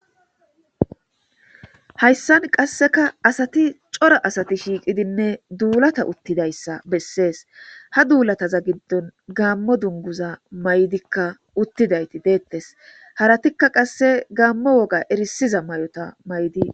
Hayisan qaseka asati cora asati shiqidinne dulata utidayisa beses ha dulataza gidon gamo dunguza mazika utiza haratika qase gamo woga erisiza mayota mayidi.